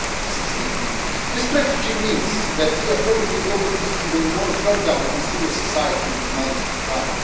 2016. This strategy means that we are probably going to see even more crackdowns on civil society in the months to come.